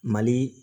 Mali